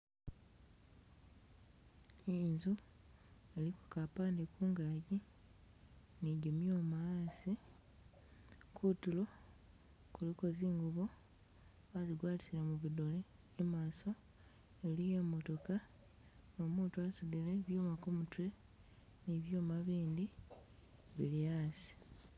I'nzu iliko Ka mpade Ku ngaji ni jimyuma a'asi kutuulo kuliko nzi'ngubo bazigwatile mubidole, e'maso eliiyo e'motoka no'muutu a'suudile byuuma ku mutwe ni byuuma bindi bili a'asi